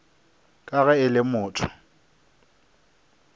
ka ge e le motho